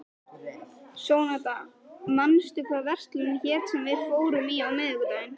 Sónata, manstu hvað verslunin hét sem við fórum í á miðvikudaginn?